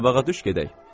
Qabağa düş gedək!